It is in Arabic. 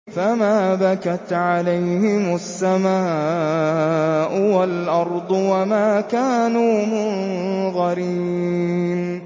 فَمَا بَكَتْ عَلَيْهِمُ السَّمَاءُ وَالْأَرْضُ وَمَا كَانُوا مُنظَرِينَ